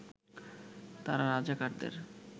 তারা রাজাকারদের